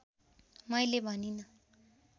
मैले भनिँन